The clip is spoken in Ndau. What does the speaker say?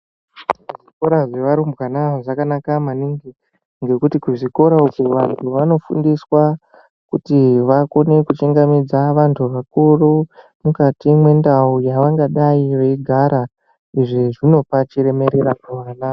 Zvikora zvevarumbwana zvakanaka maningi ngekuti kuchikora uko vantu vanofundiswa kuti vakone kuchingamidza vasharuka mukati mwendau yavangadayi veigara. Izvi zvinopa chiremerera kuvana.